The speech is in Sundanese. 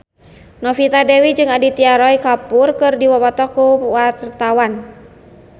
Novita Dewi jeung Aditya Roy Kapoor keur dipoto ku wartawan